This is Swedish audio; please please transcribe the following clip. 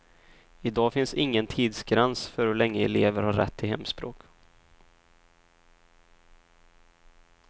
I dag finns ingen tidsgräns för hur länge elever har rätt till hemspråk.